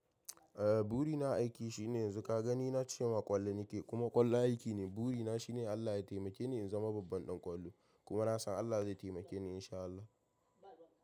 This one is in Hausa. Eh, buri na a aiki shine yanzu ka gani na cema ƙwallo nake, kuma ƙwallo aiki ne. Buri na shine Allah ya taimake ni in zama babban ɗan ƙwallo kuma na san Allah zai taimake ni in sha Allah.